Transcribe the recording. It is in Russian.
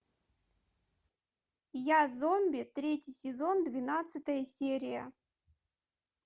я зомби третий сезон двенадцатая серия